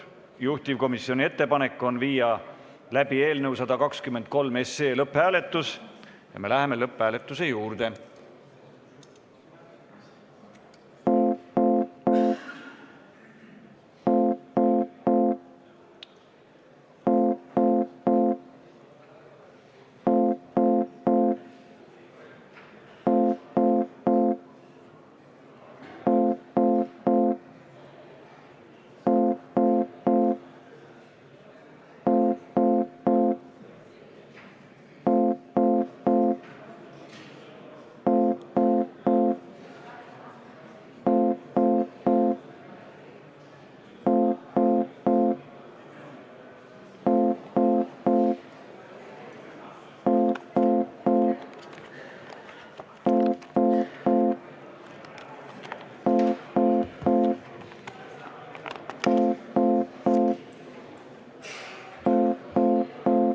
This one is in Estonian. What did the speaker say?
Juhtivkomisjoni ettepanek on viia läbi eelnõu 123 lõpphääletus ja me läheme lõpphääletuse juurde.